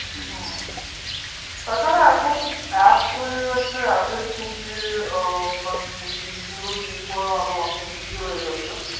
তাছাড়া এখন apps হয়ে গেছে app এর through দিয়ে মানে deal করা অনেক easy হয়ে গেছে